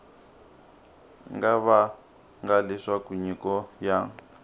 nga vanga leswaku nyiko ya